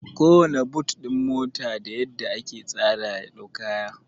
Kowanna but ɗin mota da yadda aka tsara ya dau kaya